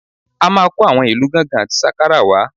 A máa kó àwọn ìlù gángan àti sákàrà wá